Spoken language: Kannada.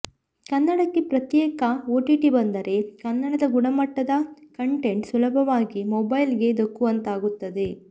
ಕನ್ನಡಕ್ಕೆ ಪ್ರತ್ಯೇಕ ಓಟಿಟಿ ಬಂದರೆ ಕನ್ನಡದ ಗುಣಮಟ್ಟದ ಕಂಟೆಂಟ್ ಸುಲಭವಾಗಿ ಮೊಬೈಲ್ಗೆ ಧಕ್ಕುವಂತಾಗುತ್ತದೆ